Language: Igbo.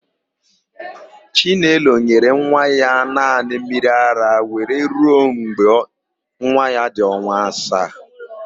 Chinelo nyere nwa ya naanị mmiriara were ruo mgbe nwa ya dị ọnwa isii.